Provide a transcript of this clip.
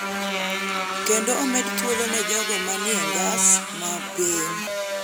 kendo omedo thuolo ne jogo ma ni e ngas ma piny